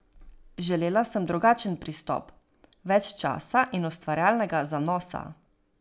Želela sem drugačen pristop, več časa in ustvarjalnega zanosa.